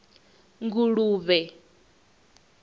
nguluvhe